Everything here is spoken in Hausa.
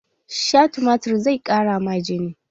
Sha tumatir zai ƙara ma jini!